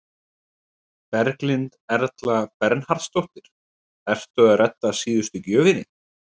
Berghildur Erla Bernharðsdóttir: Ertu að redda síðustu gjöfinni?